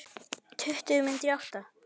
Tuttugu mínútur í átta.